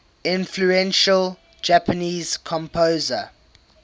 influential japanese composer